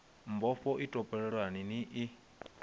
mbofho i topoleni ni i